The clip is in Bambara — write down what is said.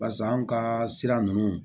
Basa anw ka sira ninnu